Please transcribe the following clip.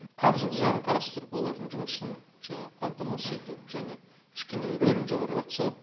қаржылық жағын қарастырып олардың жұмысын жаңағы қамтамасыз ету және кішкене рөлін жоғарылатса